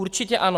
Určitě ano.